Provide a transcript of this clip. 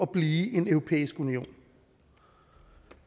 blive en europæisk union